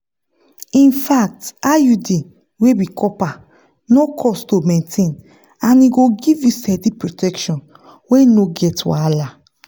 infact iud wey be copper no cost to maintain and e go give you steady protection wey no get wahala.